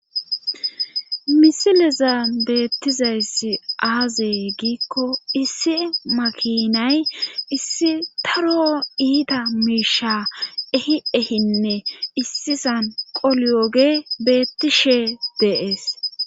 misileza beettizayssi aazee giikko issi makinay issi taro iita miisha ehi ehinne issisan qolioge beettishe deees